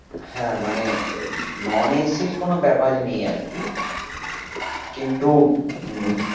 হ্যাঁ মানে non AC এর কোনো ব্যাপারই নয় আরকি কিন্তু উম